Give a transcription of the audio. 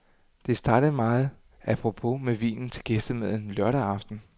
Det startede meget a propos med vinen til gæstemaden lørdag aften.